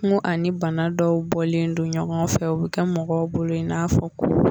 Nko ani bana dɔw bɔlen don ɲɔgɔn fɛ, u bɛ kɛ mɔgɔw bolo in n'a fɔ ko.